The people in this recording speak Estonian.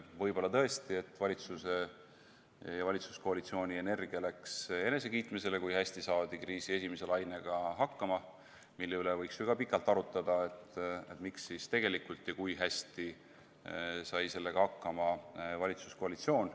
Võib-olla tõesti, et valitsuse ja valitsuskoalitsiooni energia läks enesekiitmisele, kui hästi saadi kriisi esimese lainega hakkama, mille üle võiks ju ka pikalt arutada, mis siis tegelikult oli ja kui hästi sai sellega hakkama valitsuskoalitsioon.